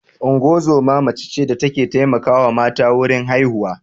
Ungozoma mace ce da ta ke taimakawa mata wurin haihuwa